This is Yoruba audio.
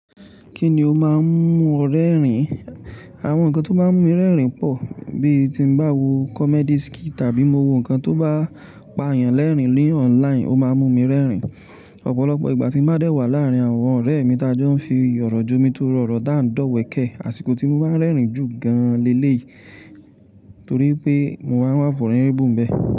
Kí ni ó máa ń mú ọ rẹ́rìn? Àwọn nǹkan tó máa ń mú mi rẹ́rìn pọ̀ bí tí mo bá wo comedy skit tàbí mo wo nǹkan tó bá pa èèyàn lẹ́rìn-ín ní online ó máa mú mi rẹ́rìn. Ọ̀pọ̀lọpọ̀ ìgbà tí ń bá dé wà láàárín àwọn ọ̀rẹ́ mi tá jọ ń fi ọ̀rọ̀ jọ́ mi torọ òrọ̀ tí a n dowẹ̀kẹ́, àsìkò tí mo máa ń rẹ́rìn jù gan-an lé-lé yìí torí pé mo máa ń wà vunerable ń bẹ.